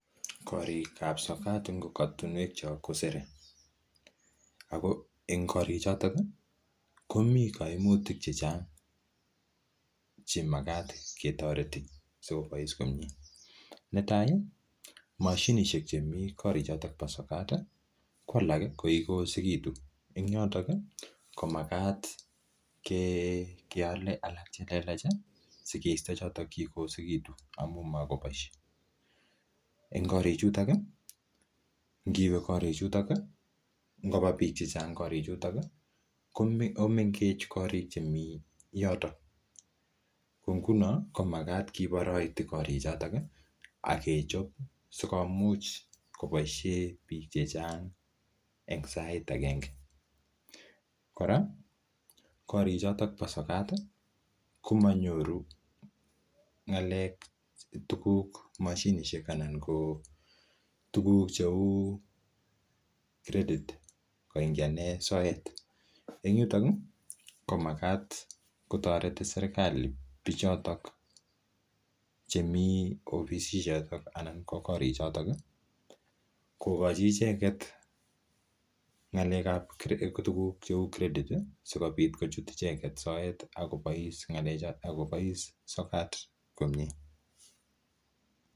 Korikab sokat en korotinwekyok ko sere ago en korik choto komi kaimutik che chang che magat ketoreti sikobois komye. Netai: moshinishek chemi en kotirk choto bo sokat ko alak kokiyosegitu , en yoto komagat keale alak che lelach sikeisto choto kigoyosegitu amun mogoboishe. En yoto ngiwe korichuto ngoba biik chechang korichuto komengech korik chemi yoto ko ngunot komagat kiboroiti korichoto agechob sikomuch koboisie biik chechang en sait agenge. Kora korik choto bo sokat komanyoru tuguk cheu credit koingianen soet en yuton komagat kotoreti serkalit biichoto. Chemi korichoto kogochi icheget tuguk cheu credit sikomuch kochut icheget soet ak kobois sokat komye.